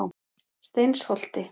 Steinsholti